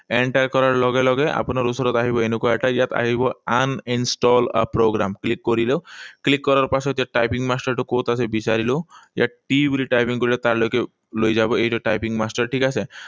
Enter কৰাৰ লগে লগে আপোনাৰ ওচৰত আহিব এনেকুৱা এটা। ইয়াত আহিব uninstall a programme. Click কৰিলো। Click কৰাৰ পাছত ইয়াত typing master টো কত আছে বিছাৰিলো। ইয়াত T বুলি টাইপিং কৰিলে তাৰ লৈকে লৈ যাব। এইটো typing master, ঠিক আছে?